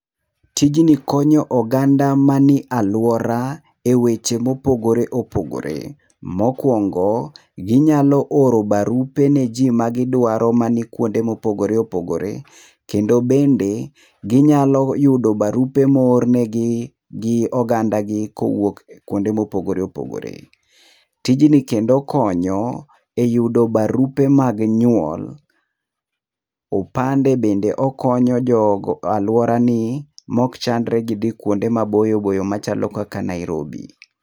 Tijni konyo oganda mani aluora eweche mopogore opogore. Mokuongo, ginyalo oro barupe niji magidwaro manikuonde mopogore nopogore. Kende bende, ginyalo yudo barupe moor negi gi ogandagi kowuok kuonde mopogore opogore. Tijni kendo konyo eyudo barupe mag nyuol, opande bende okonyo jogo aluorani maok chandre gidhio kuonde maboyo boyo kaka Nairobi.